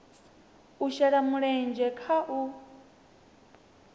u shela mulenzhe kha u